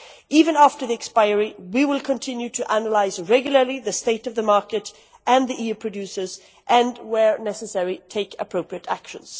Even after the expiry, we will continue to regularly analyse the state of the market and the EU producers and, where necessary, take appropriate action.